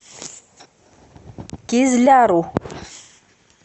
кизляру